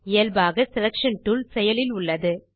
இயல்பாக selection tool செயலில் உள்ளது